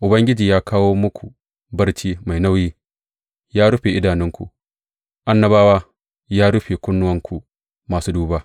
Ubangiji ya kawo muku barci mai nauyi, Ya rufe idanunku annabawa; ya rufe kawunanku masu duba.